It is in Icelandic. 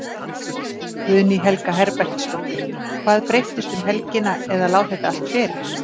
Guðný Helga Herbertsdóttir: Hvað breyttist um helgina eða lá þetta allt fyrir?